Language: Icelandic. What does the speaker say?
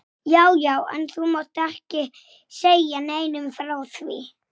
Það tókst mér ekki.